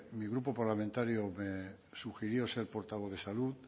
mi grupo parlamentario me sugirió ser portavoz de salud